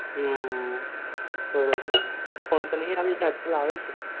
હમ બરોબર phone તો નહિ આવે છે